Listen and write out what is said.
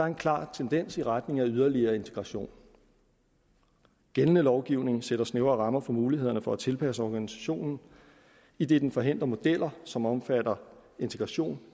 en klar tendens i retning af yderligere integration gældende lovgivning sætter snævre rammer for mulighederne for at tilpasse organisationen idet den forhindrer modeller som omfatter integration